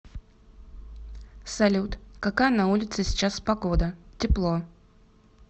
салют какая на улице сейчас погода тепло